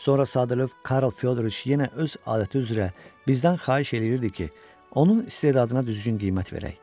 Sonra sadəlövh Karl Fyodriç yenə öz adəti üzrə bizdən xahiş eləyirdi ki, onun istedadına düzgün qiymət verək.